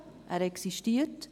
Er existiert.